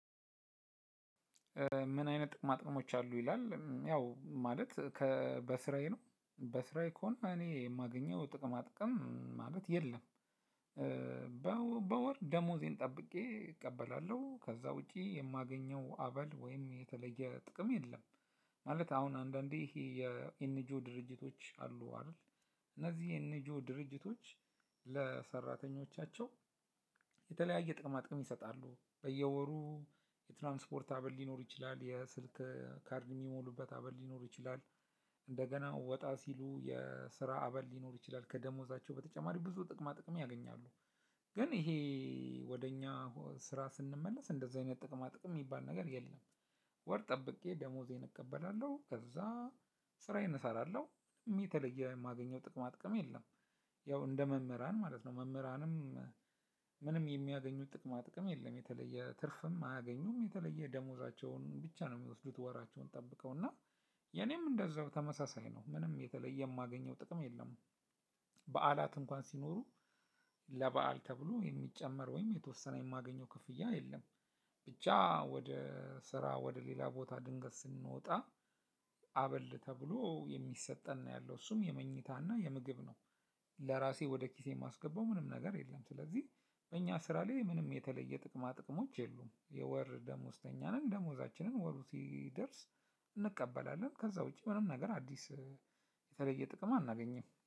ምን አይነት ጥቅምአጥንሞች አሉ ይላል ያው ማለት ከ በስራዬ ነው በስራዬ ከሆነ እኔ የማገኘው ጥቅማ ጥቅም ማለት የለም። በወር ደሞዜን ጠብቄ እቀበላለሁ ከዛ ውጪ የማገኘው አበል ወይም የተለየ ጥቅም የለም። ማለት አሁን አንዳንዴ ይሄ የኤንጂኦ ድርጅቶች አሉ አይደል? እነዚህ ኤንጂኦ ድርጅቶች። ለሰራተኞቻቸው የተለያየ ጥቅማጥቅም ይሰጣሉ በየወሩ የትራንስፖርት አበል ሊኖር ይችላል የስልክ ካርድ የሚሞሉበት አበል ሊኖር ይችላል። እንደገና ወጣ ሲሉ የስራ አበል ሊኖር ይችላል ከደሞዛቸው በተጨማሪ ብዙ ጥቅማ ጥቅም ያገኛሉ። ግን ይሄ ወደ እኛ ስራ ስንመለስ እንደዚህ አይነት ጥቅማ ጥቅም የሚባል ነገር የለም። ወር ጠብቄ ደሞዜን እቀበላለሁ ከዛ ስራዬን እሰራለሁ ምንም የተለየ የማገኘው ጥቅማ ጥቅም የለም። ያው እንደ መምህራን ማለት ነው። መምህራንም ምንም የሚያገኙት ጥቅማ ጥቅም የለም የተለየ ትርፍም አያገኙም። የተለየ ደሞዛቸውን ብቻ ነው የሚወስዱት ወራቸውን ጠብቀው እና የኔም እንደዛው ተመሳሳይ ነው። ምንም የተለየ የማገኘው ጥቅም የለም። በዓላት እንኳን ሲኖሩ ለበአል ተብሎ የሚጨመር ወይም የተወሰነ የማገኘው ክፍያ የለም። ብቻ ወደ ስራ ወደ ሌላ ቦታ ድንገት ስንወጣ አበል ተብሎ የሚሰጠን ነው ያለው እሱም የመኝታና የምግብ ነው። ለራሴ ወደ ኪሴ የማስገባው ምንም ነገር የለም። ስለዚህ እኛ ስራ ላይምንም የተለየ ጥቅማጥቅሞች የሉም። የወር ደመወዝተኛ ነኝ ደሞዛችንን ወሩ ሲደርስ እንቀበላለን ከዛ ውጪ ምንም ነገር አዲስ የተለየ ጥቅም አናገኝም